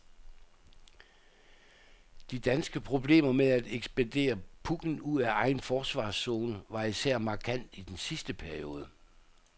De danske problemer med at ekspedere pucken ud af egen forsvarszone var især markant i den sidste periode.